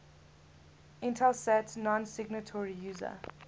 intelsat nonsignatory user